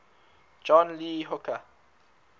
john lee hooker